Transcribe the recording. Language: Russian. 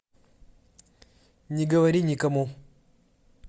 не говори никому